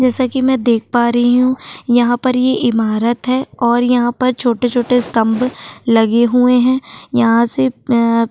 जैसा कि मैं देख पा रही हूं यहां पर ये इमारत है और यहां पर छोटे छोटे स्तंभ लगे हुए हैं यहां से अआ--